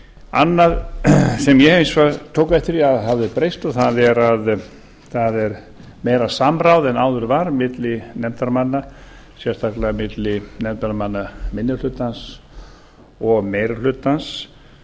annað sem ég hins vegar tók eftir að hafði breyst það er meira samráð en áður var á milli nefndarmanna sérstaklega milli nefndarmanna minni hlutans og meiri hlutans